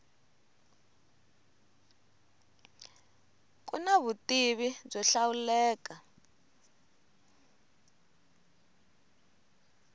ku na vutivi byo hlawuleka